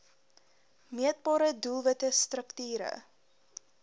meetbare doelwitte strukture